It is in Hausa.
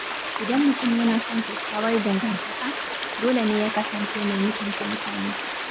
Idan mutum yana son kyakkyawar dangantaka, dole ne ya kasance mai mutunta mutane.